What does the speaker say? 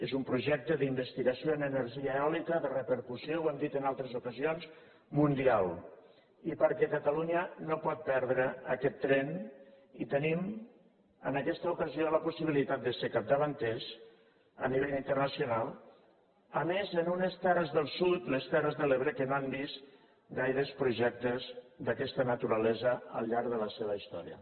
és un projecte d’investigació en energia eòlica de repercussió ho hem dit en altres ocasions mundial i perquè catalunya no pot perdre aquest tren i tenim en aquesta ocasió la possibilitat de ser capdavanters a nivell internacional a més en unes terres del sud les terres de l’ebre que no han vist gaires projectes d’aquesta naturalesa al llarg de la seva història